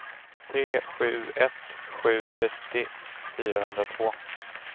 tre sju ett sju trettio fyrahundratvå